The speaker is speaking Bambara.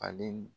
Ale